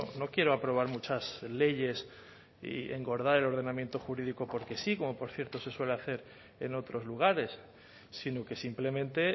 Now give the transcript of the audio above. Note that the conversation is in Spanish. no quiero aprobar muchas leyes y engordar el ordenamiento jurídico porque sí como por cierto se suele hacer en otros lugares sino que simplemente